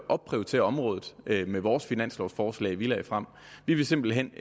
opprioritere området med vores finanslovforslag vi lagde frem vi vil simpelt hen